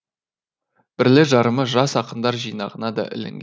бірлі жарымы жас ақындар жинағына да ілінген